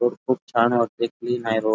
भरपुर छान वाटते क्लीन आहे रोड .